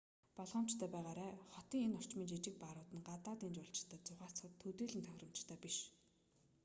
болгоомжтой байгаарай хотын энэ орчмын жижиг баарууд нь гадаадын жуулчид зугаацахад төдийлөн тохиромжтой биш